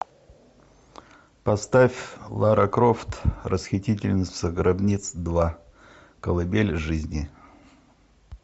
поставь лара крофт расхитительница гробниц два колыбель жизни